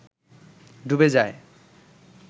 ডুবে যায়